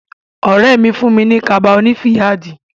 Ọ̀rẹ́ mi fún mi ní kaba oní fìyáàdì.